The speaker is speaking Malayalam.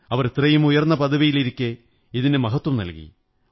അവർ ഇത്രയും ഉയര്ന്നു പദവിയിലിരിക്കെ ഇതിനു മഹത്വം നല്കി